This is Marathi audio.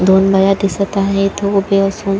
दोन बाया दिसत आहेत उभी असून.